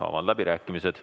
Avan läbirääkimised.